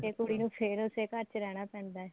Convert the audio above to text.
ਕੁੜੀ ਨੂੰ ਫੇਰ ਉਸੇ ਘਰ ਚ ਰਹਿਣਾ ਪੈਂਦਾ